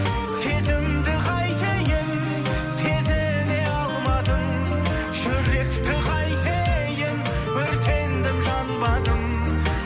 сезімді қайтейін сезіне алмадың жүректі қайтейін өртендім жанбадым